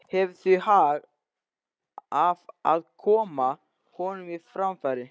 Hefur því hag af að koma honum á framfæri.